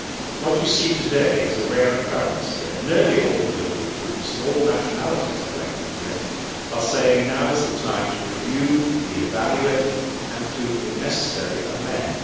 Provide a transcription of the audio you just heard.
What you see today is a rare occurrence here. Nearly all political groups and all nationalities collected here are saying that now is the time to review, re evaluate and, if necessary, amend.